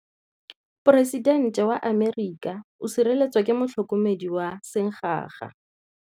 Poresitêntê wa Amerika o sireletswa ke motlhokomedi wa sengaga.